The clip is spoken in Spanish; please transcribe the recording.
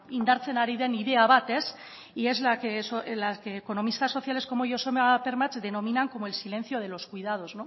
indartzen ari den ideia bat y es la que economistas sociales como joseba permach denominan como el silencio de los cuidados